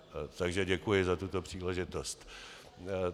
Takže děkuji za tuto příležitost.